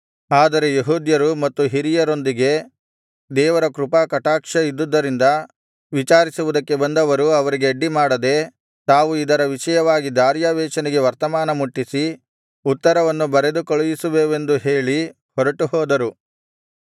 ಆದರೆ ಯೆಹೂದ್ಯರು ಮತ್ತು ಹಿರಿಯರೊಂದಿಗೆ ದೇವರ ಕೃಪಾಕಟಾಕ್ಷ ಇದ್ದುದರಿಂದ ವಿಚಾರಿಸುವುದಕ್ಕೆ ಬಂದವರು ಅವರಿಗೆ ಅಡ್ಡಿಮಾಡದೆ ತಾವು ಇದರ ವಿಷಯವಾಗಿ ದಾರ್ಯಾವೆಷನಿಗೆ ವರ್ತಮಾನ ಮುಟ್ಟಿಸಿ ಉತ್ತರವನ್ನು ಬರೆದು ಕಳುಹಿಸುವೆವೆಂದು ಹೇಳಿ ಹೊರಟು ಹೋದರು